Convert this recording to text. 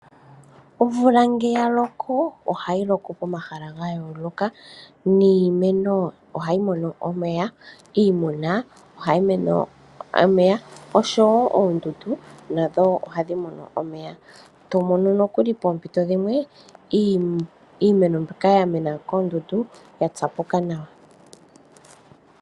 Omvula nge ya loko, ohayi loko koma hala ga yooloka niimeno ohayi mono omeya. Iimuna ohayi mono omeya, oshowo oondundu nadho ohadhi mono omeya. Tomono nokuli poompito dhimwe iimeno mbyoka ya mena koondundu ya tsapuka nawa.